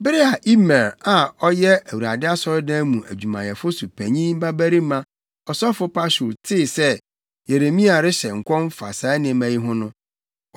Bere a Imer a ɔyɛ Awurade asɔredan mu adwumayɛfo so panyin babarima ɔsɔfo Pashur tee sɛ Yeremia rehyɛ nkɔm fa saa nneɛma yi ho no,